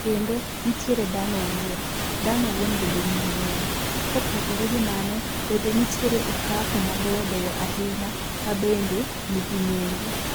Kendo nitiere dhano owuon. Dhano owuon bende nigi nengo. Kopogore gi mano, bende nitiere okapu mabeyo beyo ahinya mabende nigi nengo.